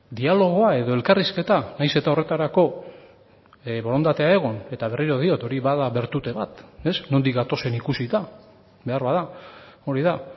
dialogoa edo elkarrizketa nahiz eta horretarako borondatea egon eta berriro diot hori bada bertute bat nondik gatozen ikusita beharbada hori da